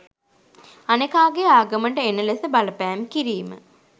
අනෙකාගේ ආගමට එන ලෙස බලපෑම් කිරීම.